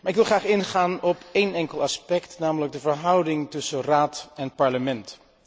Ik wil echter graag ingaan op één enkel aspect, namelijk de verhouding tussen Raad en Parlement.